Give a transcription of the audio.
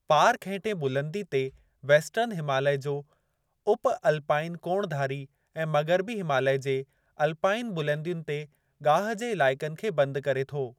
Park हेठें बुलंदी ते वेस्टर्न हिमालय जे उप-अलपाइन कोणधारी ऐं मग़िरबी हिमालय जे अल्पाइन बुलंदियुनि ते गाहि जे इलाइक़नि खे बंद करे थो।